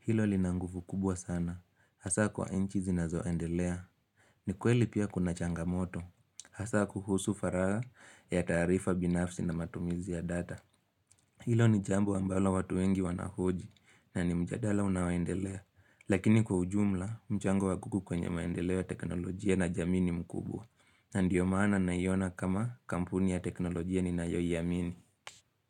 Hilo lina nguvu kubwa sana hzsa kwa nchi zinazoendelea ni kweli pia kuna changamoto, hasa kuhusu faraha ya tarifa binafsi na matumizi ya data. Hilo ni jambo ambalo watu wengi wanahoji na ni mjadala unaoendelea. Lakini kwa ujumla, mchango wa google kwenye maendeleo ya teknolojia na jamii ni mkubwa. Na ndiyo maana naiona kama kampuni ya teknolojia ninayoiamini.